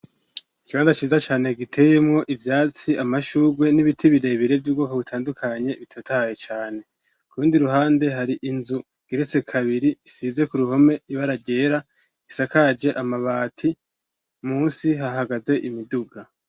Ikibanza ciza cane giteyemwo ivyatsi amashugwe n'ibiti birebire vy'ubwoko butandukanye bitotaye cane kurundi ruhande hari inzu igeretse kabiri isize ku ruhome ibara ryera isakaje amabati munsi hahagaze imiduga.